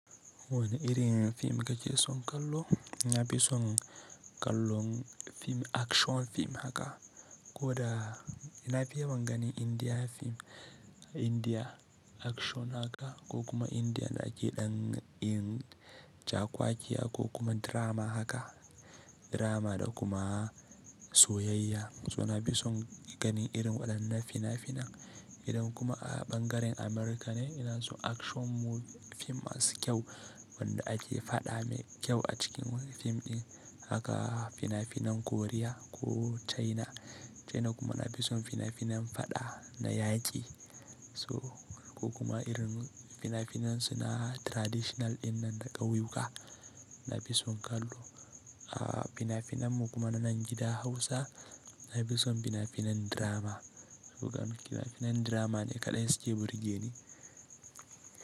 Wanne irin fim kake son kallo? Na fi son kallon fim, action fim haka. Ko da na fi yawan ganin Indiya fim, Indiya action haka ko kuma Indiya da ake ɗan yin cakwakiya ko kuma drama haka, drama da kuma soyayya. So na fi son ganin irin waɗannan fina-finan. Idan kuma a ɓangaren Amurka ne, ina so action fim masu kyau wanda ake faɗa mai kyau a cikin fim ɗin haka fina-finan Koriya ko China. China kuma na fi son fina-finan faɗa na yaki so ko kuma irin fina-finan suna traditional dinnan na ƙauyuka na fi son kallo. A fina-finan mu kuma na nan gida Hausa, na fi son fina-finan drama. Saboda fina-finan drama ne kaɗai suke burge ni.